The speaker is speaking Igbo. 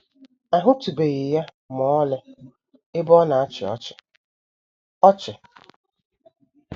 “ A HỤTỤBEGHỊ ya ma ọlị ebe ọ na - achị ọchị. ” ọchị. ”